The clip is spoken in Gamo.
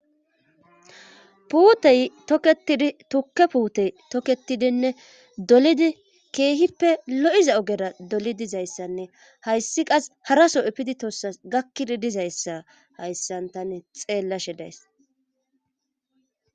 puutey toketidi tukke puutey toketidinne dolidi keehippe lo7iza ogera doli dizayssanne hayssi qas haraso epidi tossa gakkidi dizayssa hayssantane xeellashe days